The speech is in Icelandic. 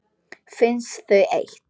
Finnst þau eitt.